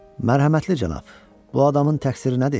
Mərhəmətli cənab, bu adamın təqsiri nədir?